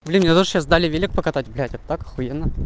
блин мне тоже сейчас дали велик покатать блядь это так ахуенно